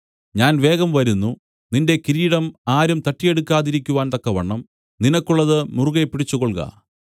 ഞാൻ വേഗം വരുന്നു നിന്റെ കിരീടം ആരും തട്ടിയെടുക്കാതിരിക്കുവാൻ തക്കവണ്ണം നിനക്കുള്ളത് മുറുകെപ്പിടിച്ചുകൊൾക